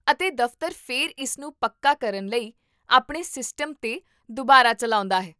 ਅਤੇ ਦਫ਼ਤਰ ਫਿਰ ਇਸ ਨੂੰ ਪੱਕਾ ਕਰਨ ਲਈ ਆਪਣੇ ਸਿਸਟਮ ਤੇ ਦੁਬਾਰਾ ਚੱਲਾਉਂਦਾ ਹੈ